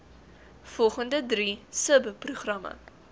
volgende drie subprogramme